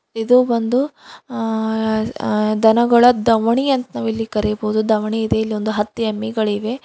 ಇದು ಒಂದು ಆ-ಆ ದನಗಳ ದವಣಿ ಅಂತ್ ನಾವಿಲ್ಲಿ ಕರೆಯಬಹುದು ದವಣಿ ಇದೆ ಇಲ್ಲೊಂದು ಹತ್ತು ಎಮ್ಮಿಗಳಿವೆ.